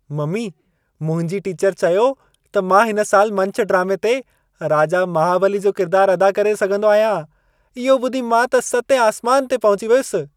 Mummy, मुंहिंजी teacher चयो त मां हिन साल मंच ड्रामे ते राजा महाबली जो किरदार अदा करे सघंदो आहियां। इहो ॿुधी मां त सतें आसमान ते पहुची वियसि।